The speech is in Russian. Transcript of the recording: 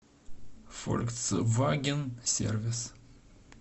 фольксваген сервис